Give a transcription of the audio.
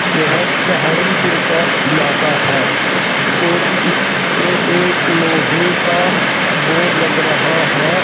यह सहारनपुर का इलाका है और इसपे एक लोहे का बोर्ड लग रहा है।